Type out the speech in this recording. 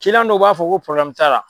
Kiliɲan dɔw b'a fɔ ko poroblɛmu t'a la